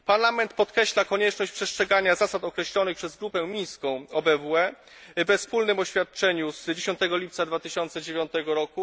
Parlament podkreśla konieczność przestrzegania zasad określonych przez Grupę mińską OBWE we wspólnym oświadczeniu z dnia 10 lipca 2009 r.